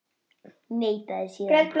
Neitaði síðan.